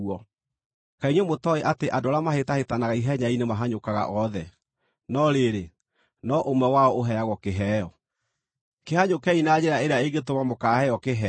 Kaĩ inyuĩ mũtooĩ atĩ andũ arĩa mahĩtahĩtanaga ihenya-inĩ mahanyũkaga othe, no rĩrĩ, no ũmwe wao ũheagwo kĩheo? Kĩhanyũkei na njĩra ĩrĩa ĩngĩtũma mũkaaheo kĩheo.